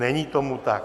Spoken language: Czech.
Není tomu tak.